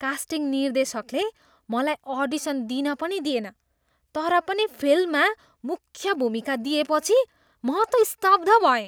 Casting निर्देशकले मलाई audition दिन पनि दिएन तर पनि फिल्ममा मुख्य भूमिका दिएपछि म त स्तब्ध भएँ।